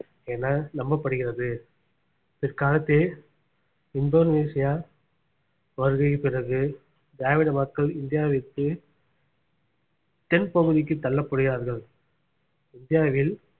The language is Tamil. என நம்பப்படுகிறது பிற்காலத்தில் இந்தோனேசியா வருகையின் பிறகு திராவிட மக்கள் இந்தியாவை விட்டு தென்பகுதிக்கு தள்ளப்படுகிறார்கள் இந்தியாவில்